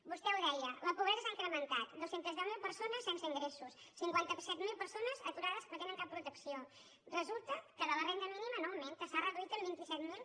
vostè ho deia la pobresa s’ha incrementat dos cents i deu mil persones sense ingressos cinquanta set mil persones aturades que no tenen cap protecció resulta que la renda mínima no augmenta s’ha reduït en vint set mil